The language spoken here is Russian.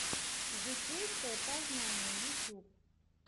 житейское познание ютьюб